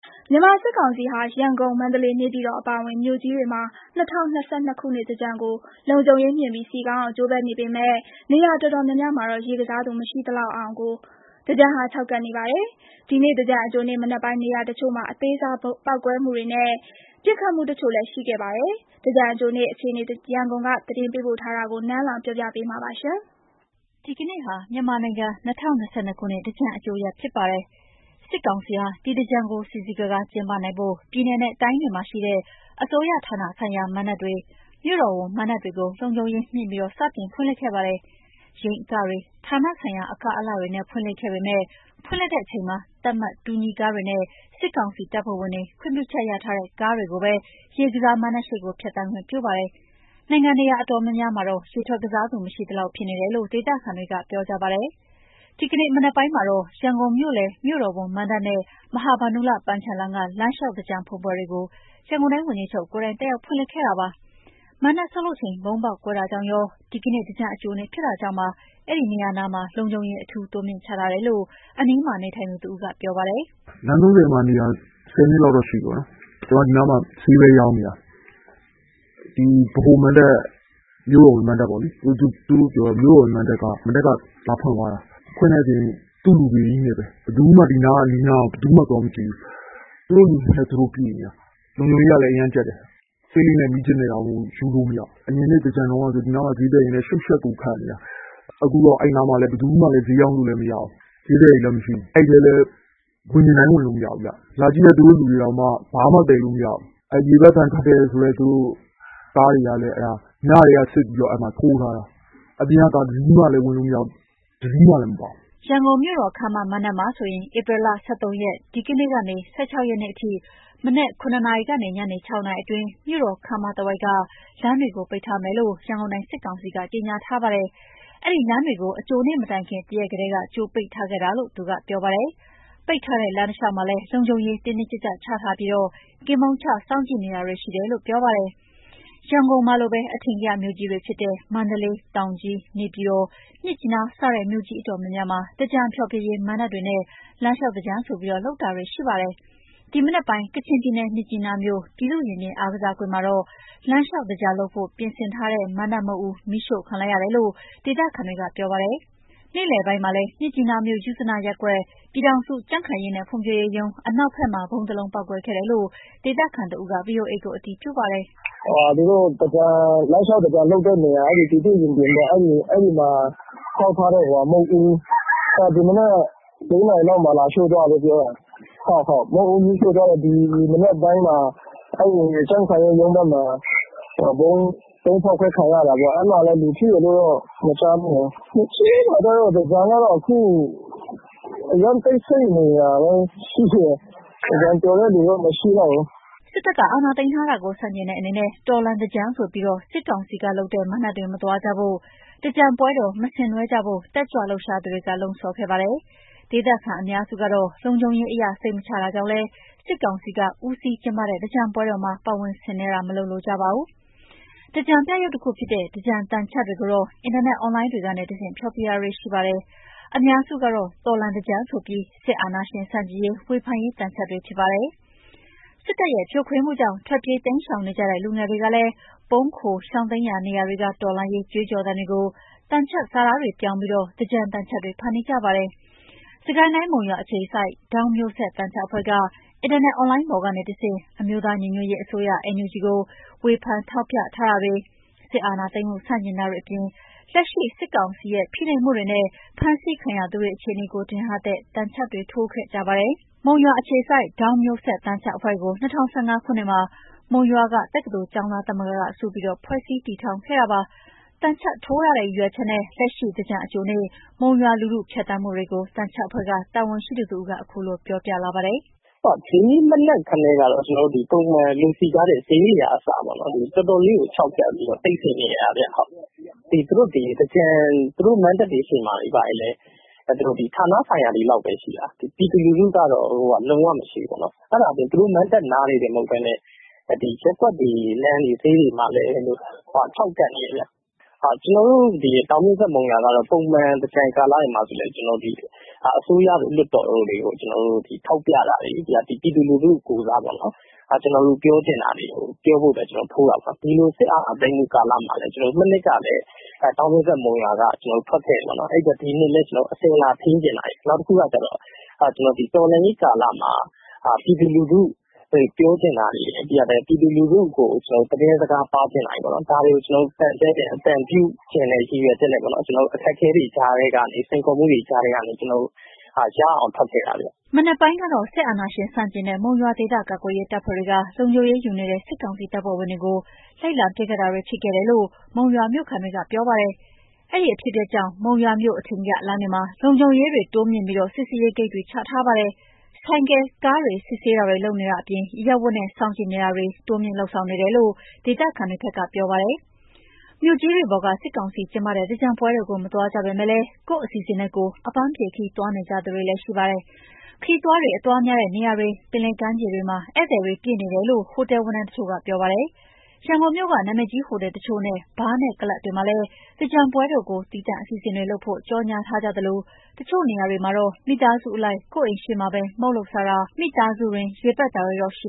မြန်မာစစ်ကောင်စီဟာ ရန်ကုန်၊ မန္တလေး၊ နေပြည်တော်အပါအဝင် မြို့ကြီးတွေမှာ ၂၀၂၂ ခုနှစ်သင်္ကြန်ကို လုံခြုံရေးမြှင့်ပြီး စည်ကားအောင် ကြိုးပမ်းနေပေမယ့် နေရာအတော်များများမှာတော့ ရေကစားသူမရှိသလောက်ဖြစ်ပြီး သင်္ကြန်ဟာ ခြောက်ကပ်နေပါတယ်။ ဒီနေ့ သင်္ကြန်အကြိုနေ့မနက်ပိုင်း နေရာတချို့မှာ အသေးစား ပေါက်ကွဲမှုတွေနဲ့ ပစ်ခတ်မှုတချို့လည်းရှိခဲ့ပါတယ်။ သင်္ကြန်အကြိုနေ့ အခြေအနေ ရန်ကုန်က သတင်းပေးပို့တာကို နန်းလောဝ် တင်ပြပေးထားပါတယ်။ ဒီကနေ့ဟာ မြန်မာ့နိုင်ငံ ၂၀၂၂ ခုနှစ် သင်္ကြန်အကြိုရက်ဖြစ်ပါတယ်။ စစ်ကောင်စီဟာ ဒီသြင်္ကန်ကို စည်စည်ကားကား ကျင်းပနိုင်ဖို့ ပြည်နယ်နဲ့တိုင်းတွေမှာရှိတဲ့ အစိုးရဌာနဆိုင်ရာမဏ္ဍပ်တွေ၊ မြို့တော်ဝန်မဏ္ဍပ်တွေကို လုံခြုံရေးမြှင့်ပြီး စတင်ဖွင့်လှစ်ခဲ့ပါတယ်။ ယိမ်းအကတွေ၊ ဌာနဆိုင်ရာအက အလှတွေနဲ့ ဖွင့်လှစ်ခဲ့ပေမယ့် ဖွင့်လှစ်ချိန်မှာ သတ်မှတ်တူညီကားတွေနဲ့ စစ်ကောင်စီတပ်ဖွဲ့ဝင်တွေခွင့်ပြုချက်ရထားတဲ့ ကားတွေကိုပဲ ရေကစားမဏ္ဍပ်ရှေ့ကို ဖြတ်သန်းခွင့်ပြုပါတယ်။ နိုင်ငံနေရာ တော်တော်များများမှာတော့ ရေထွက်ကစားသူ မရှိသလောက် ဖြစ်နေတယ်လို့ ဒေသခံတွေ ကပြောကြပါတယ်။ ဒီကနေ့မနက်ပိုင်းမှာတော့ ရန်ကုန်မြို့လယ် မြို့တော်ဝန်မဏ္ဍပ်နဲ့ မဟာဗန္ဓုလပန်းခြံလမ်းက လမ်းလျှောက်သြင်္ကန်ဖွင့်ပွဲတွေကို ရန်ကုန်တိုင်း ဝန်ကြီးချုပ်ကိုယ်တိုင် တက်ရောက်ဖွင့်လှစ်ခဲ့ပါတယ်။ မဏ္ဍပ်ဆောက်လုပ်ချိန် ဗုံးပေါက်ကွဲတာကြောင့်ရော ဒီကနေ့သြင်္ကန်အကြိုနေ့ဖြစ်တာကြောင့်ပါ အဲဒီနေရာနားမှာ လုံခြုံရေး အထူးတိုးမြှင့်ချထားတယ်လို့ အနီးမှာနေထိုင်သူတဦးကပြောပါတယ်။ “လမ်း ၃၀ နားမှာ နေတာပါ။ ၁၀ နှစ်ကျော်ပြီ။ ဒီနားနေတာ။ မနက်က လာဖွင့်ပေမယ့် ဒီအနီးအနားက ဘယ်သူမှသွားမကြည့်ကြဘူး။ သူတို့လူတွေနဲ့သူတို့ ပြည့်နေတာပဲ။ လုံခြုံရေးကလည်း ကျပ်တယ်။ ဆေးလိပ်နဲ့မီးခြစ်တောင်ယူမရဘူး။ အရင် ကဆို ဒီနားမှာဈေးသည်တွေနဲ့ ရှုပ်ယှက်က်ခတ်နေတာ။ ခုတော့ရောင်းတဲ့သူလည်းမရှိ။ အဲဒီထဲလည်း ဝင်မရောင်းရဘူးလေ။ သူတို့ကပိတ်ထားတာကို။ လာကြည့်တဲ့ သူတို့လူတွေတောင် ဘာမှမယူရဘူး။ ကားတွေကလည်း သူတို့က စစ်ထားတဲ့ကားပဲ ဝင်ရတာလေ။ ညကတည်းက စစ်ထားပြီး ထိုးထားတာ။ အပြင် ကကားတွေ မပါဘူး။” ရန်ကုန်မြို့တော်ခန်းမ မဏ္ဍပ်မှာဆိုရင် ဧပြီလ ၁၃ ရက် ဒီနေ့ကနေ ၁၆ ရက်နေ့ အထိ မနက် ၇ နာရီကနေ ညနေ ၆ နာရီအတွင်း မြို့တော်ခန်းမတဝိုက်က လမ်းတွေကိုပိတ်ထားမယ်လို့ ရန်ကုန်တိုင်း စစ်ကောင်စီက ကြေညာထားပါတယ်။ အဲဒီလမ်းတွေကို အကြိုနေ့မတိုင်ခင် တရက်ကတည်းက ကြိုပိတ်ထားခဲ့တာလို့သူက ပြောပါတယ်။ ပိတ်ထားတဲ့ လမ်းတလျှောက်မှာလည်း လုံခြုံရေးတင်းတင်းကျပ်ကျပ်ချထားပြီး ကင်းပုန်းချစောင့်ကြည့်နေတာတွေရှိတယ်လို့ သူကပြောပါတယ်။ ရန်ကုန်မှာလိုပဲ အထင်ကရမြို့ကြီးတွေဖြစ်တဲ့ မန္တလေး၊ တောင်ကြီး၊ နေပြည်တော်၊ မြစ်ကြီးနား စတဲ့ မြို့ကြီးအတော်များများမှာ သြင်္ကန်ဖျော်ဖြေရေးမဏ္ဍပ်တွေနဲ့ လမ်းလျှောက်သြင်္ကန်ဆိုပြီး လုပ်တာတွေရှိပါတယ်။ ဒီမနက်ပိုင်း ကချင်ပြည်နယ် မြစ်ကြီးနားမြို့ ပြည်သူ့ရင်ပြင်အားကစားကွင်းမှာတော့ လမ်းလျှောက်သြင်္ကန် လုပ်ဖို့ ပြင်ဆင်ထားတဲ့မဏ္ဍပ်မုခ်ဦး မီးရှို့ခံလိုက်ရတယ်လို့ ဒေသခံတွေက ပြောပါတယ်။ နေ့လယ်ပိုင်းမှာလည်း မြစ်ကြီးနားမြို့ ယုဇနရပ်ကွက် ပြည်ထောင်စုကြံ့ခိုင်ရေးနဲ့ ဖွံ့ဖြိုးရေးရုံး အနောက်ဘက်မှာ ဗုံးတလုံးပေါက်ကွဲခဲ့တယ်လို့ ဒေသခံတဦးက ဗွီအိုအေကို အတည်ပြုပါတယ်။ “သူတို့ လမ်းလျှောက်သင်္ကြန်လုပ်တဲ့နေရာ ပြည်သူ့ရင်ပြင်ပေါ့- အဲဒီနေရာမှာ ဆောက်ထားတဲ့ မုဒ်ဦး ဒီမနက် ၄ နာရီလောက်မှာ မီးလာရှို့သွားတယ်။ နောက်ကြံ့ ခိုင်ရေးရုံးဘက်မှာ ဗုံးပေါက်ကွဲခံရတယ်။ လူထိတယ်မကြားမိဘူး။ မြစ်ကြီးနားမှာ သင်္ကြန်ကတော့ အရမ်းတိတ်ဆိတ် နေတာပဲ ရှိတယ်။ သင်္ကြန်ပျော်တဲ့သူတော့မရှိတော့ဘူး။” စစ်တပ်က အာဏာသိမ်းထားတာကို ဆန့်ကျင်တဲ့အနေနဲ့ တော်လှန်သင်္ကြန်ဆိုပြီး စစ်ကောင်စီကလုပ်တဲ့ မဏ္ဍပ်တွေမသွားကြဖို့၊ သင်္ကြန်ပွဲတော်မဆင်နွှဲကြဖို့ တက်ကြွ လှုပ်ရှားသူတွေက လှုံ့ဆော်ခဲ့ပါတယ်။ ဒေသခံအများစုကတော့ လုံခြုံရေးအရ စိတ်မချတာကြောင့်လည်း စစ်ကောင်စီက ဦးစီးကျင်းပတဲ့ သင်္ကြန်ပွဲတော်မှာ ပါဝင် ဆင်နွှဲတာ မလုပ်လိုကြပါဘူး။ သင်္ကြန်ပြယုဒ်တခုဖြစ်တဲ့ သင်္ကြန်သံချပ်တွေကိုတော့ အင်တာနက် အွန်လိုင်းတွေက တဆင့် ဖျော်ဖြေတာတွေရှိပါတယ်။ အများစုကတော့ တော်လှန်သင်္ကြန်ဆိုပြီး စစ်အာဏာရှင်ဆန့်ကျင်ရေး ဝေဖန်ရေးသံချပ်တွေဖြစ်ကြပါတယ်။ စစ်တပ်ရဲ့ ဖြိုခွင်းမှုကြောင့် ထွက်ပြေးတိမ်းရှောင်နေကြတဲ့ လူငယ်တွေကလည်း ပုန်းခိုရှောင်တိမ်းရာနေရာတွေက တော်လှန်ရေးကြွေးကြော်သံတွေကို သံချပ်စာသားတွေပြောင်းပြီး သင်္ကြန်သံချပ်တွေဖန်တီးကြပါတယ်။ စစ်ကိုင်းတိုင်း မုံရွာအခြေစိုက် ဒေါင်းမျိုးဆက် သံချပ်အဖွဲ့က အင်တာနက်အွန်လိုင်းပေါ်ကနေတဆင့် အမျိုးသား ညီညွတ်ရေးအစိုးရ NUG ကို ဝေဖန်ထောက်ပြထားတာတွေ၊ စစ်အာဏာသိမ်းမှုဆန့်ကျင် တာတွေအပြင် လက်ရှိ စစ်ကောင်စီရဲ့ဖိနှိပ်မှုတွေနဲ့ ဖမ်းဆီးခံရသူတွေ အခြေအနေတွေကိုထင်ဟပ်တဲ့ သံချပ်တွေထိုးခဲ့ကြပါတယ်။ မုံရွာအခြေစိုက် ဒေါင်းမျိုးဆက် သံချပ်အဖွဲ့ကို ၂ဝ၁၅ ခုနှစ်မှာ မုံရွာက တက္ကသိုလ်ကျောင်းသားသမဂ္ဂက စုပြီး ဖွဲ့စည်းတည်ထောင်ခဲ့တာ ဖြစ်ပါတယ်။ သံချပ်ထိုးရတဲ့ ရည်ရွယ်ချက်နဲ့ လက်ရှိသင်္ကြန်အကြိုနေ့ မုံရွာ လူထုဖြတ်သန်းမှုတွေကို သံချပ်အဖွဲ့က တာဝန်ရှိသူတဦးက ခုလိုပြောပြလာတာပါ။ “ဒီနေ့မနက်ကတည်းက ပုံမှန်လူစည်ကားတဲ့ဈေးတွေကအစ တော်တော်လေးခြောက်ကပ်တယ်။ တိတ်ဆိတ်နေတာဗျ။ သူတို့မဏ္ဍပ်တွေရှေ့မှာ ဌာနဆိုင်ရာတွေလောက်ပဲ ရှိတယ်။ ပြည်သူကလုံးဝမရှိဘူး။ နောက် အဲဒီနားတင်မကဘူး။ ရပ်ကွက် လမ်းတွေဈေးတွေမှာလည်း ခြောက်ကပ်နေတယ်။ ကျနော်တို့ ဒေါင်းမျိုးဆက်မုံရွာက ပုံမှန် သင်္ကြန်ကာလတွေမှာလည်း အစိုးရလွှတ်တော်တို့ကို ပြည်သူကိုယ် စား ထောက်ပြတာတွေ၊ နောက် ပြည်သူပြောချင်တာတွေ ထိုးတာပေါ့နော်။ ဒီလို စစ်အာဏာသိမ်းတော့လည်း မနှစ်ကလည်း ကျနော်တို့ထွက်ခဲ့တယ်။ နောက်တခုကတော့ အစဉ်အလာထိန်းချင်တာရယ်၊ တော်လှန်ရေးကာလမှာ ပြည်သူလူထု ပြောချင်တာရယ်၊ ပြည်သူလူထုကို သတင်းစကားပါးချင်တာရယ်၊ ဒါတွေကိုအသံပြုချင်တဲ့ ရည်ရွယ်ချက်နဲ့ ကျနော်တို့ အခက်အခဲတွေကြားကနေ စိန်ခေါ်မှုတွေကြားထဲကနေ ရအောင်ထွက်ခဲ့တာပါ။” မနက်ပိုင်းကတော့ စစ်အာဏာရှင်ဆန့်ကျင်တဲ့ မုံရွာ ဒေသကာကွယ်ရေး တပ်ဖွဲ့ တွေက လုံခြုံရေးယူနေတဲ့ စစ်ကောင်စီတပ်ဖွဲ့ဝင်တွေကို လိုက်လံပစ်ခတ်တာတွေဖြစ်ခဲ့တယ်လို့ မုံရွာမြို့ခံတွေကပြောပါတယ်။ ဒီအဖြစ်အပျက်ကြောင့် မုံရွာမြို့ အထင်ကရလမ်းတွေမှာ လုံခြုံရေးတိုးမြှင့်ချထားတာ စစ်ဆေးရေးဂိတ်တွေ ချထားပါတယ်။ ဆိုင်ကယ်၊ ကားတွေ စစ်ဆေးတာတွေလုပ်နေတာအပြင် အရပ်ဝတ်တွေနဲ့ စောင့်ကြည့်နေတာတွေ တိုးမြှင့်လုပ်ဆောင်နေတယ်လို့ ဒေသခံတွေဘက်ကပြောပါတယ်။ မြို့ကြီးတွေပေါ်က စစ်ကောင်စီကျင်းပတဲ့ သင်္ကြန်ပွဲတော်ကို မသွားကြပေမယ့်လည်း ကိုယ့်အစီအစဉ်နဲ့ကိုယ် အပန်းဖြေ ခရီးသွားနေကြသူတွေလည်းရှိပါတယ်။ ခရီးသွားတွေ အသွားများတဲ့နေရာတွေ ပင်လယ်ကမ်းခြေတွေမှာ ဧည့်သည်တွေပြည့်နေတယ်လို့ ဟိုတယ်ဝန်ထမ်းတချို့က ပြောပါတယ်။ ရန်ကုန်မြို့က နာမည်ကြီးဟိုတယ်တချို့နဲ့ ဘားနဲ့ ကလပ်တွေမှာလည်း သင်္ကြန်ပွဲတော်ကို သီးသန့်အစီအစဉ်တွေ လုပ်ဖို့ ကြော်ငြာထားကြသလို တချို့နေရာတွေမှာတော့ မိသားစုလိုက် ကိုယ့်အိမ်ရှေ့မှာပဲ မုန့်လုပ်စားတာ မိသားစုတွင်း ရေပက်တာတွေရှိ